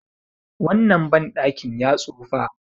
wannan bandakin ya tsufa